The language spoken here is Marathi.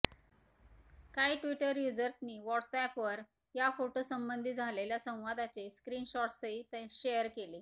काही ट्विटर यूजर्सनी व्हॉट्स ऍपवर या फोटोसंबंधी झालेल्या संवादाचे स्क्रीनशॉट्सही शेअर केले